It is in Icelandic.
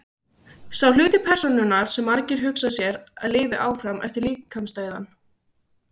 sá hluti persónunnar sem margir hugsa sér að lifi áfram eftir líkamsdauðann